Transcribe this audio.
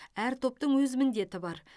әр топтың өз міндеті бар